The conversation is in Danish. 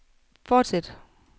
fortsæt